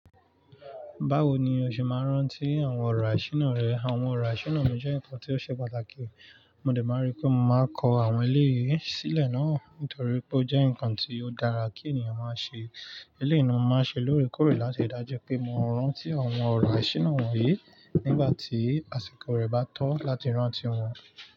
Báwo ni o ṣe máa ń rántí àwọn ọ̀rọ̀ àṣíná rẹ? Àwọn ọ̀rọ̀ àṣíná mi jẹ́ nǹkan tí ó ṣe pàtàkì. Mo dẹ̀ máa rí pé mo máa kọ àwọn eléyìí sílẹ̀ náà nítorí pé ó jẹ́ nǹkan tí ó dára kí ènìyàn máa ṣe. Eléyìí ni mo máa ṣe lóòrèkóòrè láti rii dájú pé mo ń rántí àwọn ọ̀rọ̀ àṣína wọ̀nyí nígbà tí àsìkò rẹ̀ bá tọ́ láti rántí wọn.